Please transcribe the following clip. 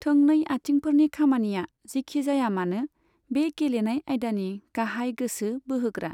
थोंनै आथिंफोरनि खामानिया, जिखिजायामानो, बे गेलेनाय आयदानि गाहाय गोसो बोहोग्रा।